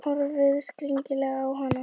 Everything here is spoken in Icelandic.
Horfði skrítilega á hana.